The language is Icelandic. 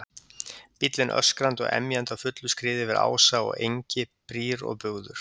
Bíllinn öskrandi og emjandi á fullu skriði yfir ása og engi, brýr og bugður.